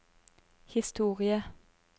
historie